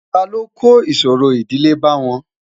ta ló kò ìṣòro ìdílé bá wọn?